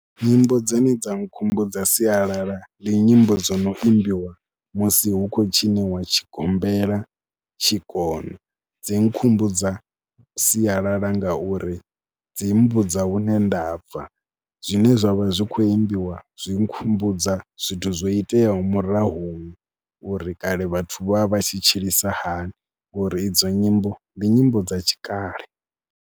Nyimbo dzine dza nkhumbudza sialala ndi nyimbo dzo no imbiwa musi hu khou tshiniwa tshigombela, tshikona. Dzi nkhumbudza sialala ngauri dzi mmbudza hune nda bva, zwine zwa vha zwi khou imbiwa zwi nkhumbudza zwithu zwo iteaho murahuni uri kale vhathu vha vha tshi tshilisa hani, uri idzo nyimbo ndi nyimbo dza tshikale.